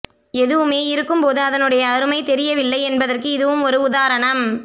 எதுமே இருக்கும் போது அதனுடைய அருமை தெரிவதில்லை என்பதற்கு இதுவும் ஒரு உதாரணம்